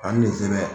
Ani nin sɛbɛn